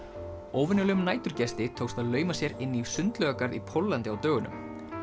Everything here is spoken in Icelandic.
óvenjulegum næturgesti tókst að lauma sér inn í í Póllandi á dögunum